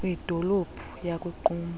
kwidolophu yaku qumbu